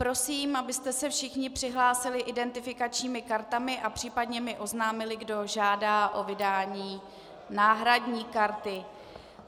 Prosím, abyste se všichni přihlásili identifikačními kartami a případně mi oznámili, kdo žádá o vydání náhradní karty.